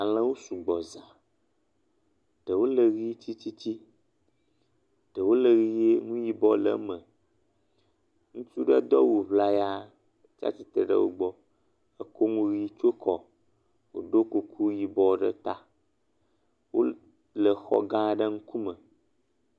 Alẽwo sugbɔ za, ɖewo le ʋi tsitsitsi, ɖewo le ʋe nu yibɔ le eme, ŋutsu do awu ŋlaya tsi atsitre ɖe wo gbɔ, ekɔ nu ʋi tsɔ kɔ ɖo kuku yibɔ ɖe ta, wol..le xɔ gã aɖe ŋkume.